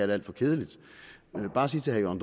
det alt for kedeligt jeg vil bare sige til herre